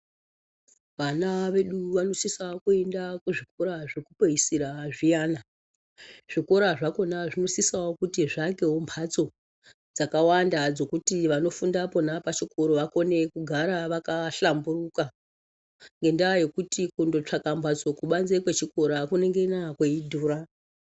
Vana vedu vanosisa kuenda kuzvikora zvekupedzisira zviyana, zvikora zvakhona zvinosisa kuti zviake mhatso dzakawanda dzekuti vanofunda pona pachikora vakone kugara vakahlamburuka ngendaa yekuti kundotsvaka mhatso kubanze kwechikora kunengana kweidhura.